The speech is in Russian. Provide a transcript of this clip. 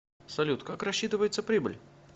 салют как рассчитывается прибыль